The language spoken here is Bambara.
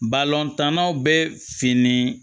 tannaw bɛ fini